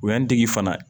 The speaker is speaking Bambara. O ye n degi fana